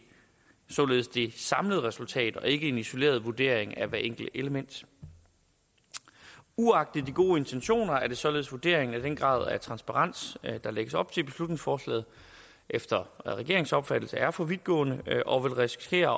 samlede resultat og ikke en isoleret vurdering af hvert enkelt element uagtet de gode intentioner er det således vurderingen at den grad af transparens der lægges op til i beslutningsforslaget efter regeringens opfattelse er for vidtgående og vil risikere